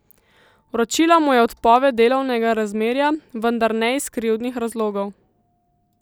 Vročila mu je odpoved delovnega razmerja, vendar ne iz krivdnih razlogov.